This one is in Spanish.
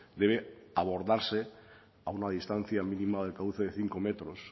debe abordarse a una distancia mínima de cauce de cinco metros